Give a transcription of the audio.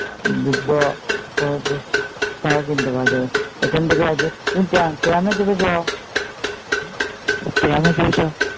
সায়া কিনতে হবে আগে । ওখানে থেকে